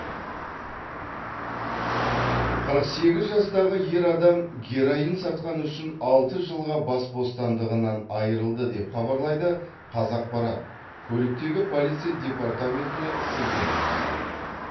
қырық сегіз жастағы ер адам героин сатқаны үшін алты жылға бас бостандығынан айырылды деп хабарлайды қазақпарат көліктегі полиция департаментіне сілтеме жасап